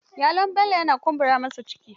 Yalon bello yana kumbura masa ciki.